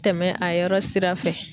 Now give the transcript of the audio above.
Tɛmɛ a yɔrɔ sira fɛ.